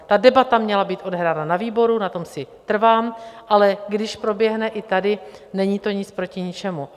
Ta debata měla být odehrána na výboru, na tom si trvám, ale když proběhne i tady, není to nic proti ničemu.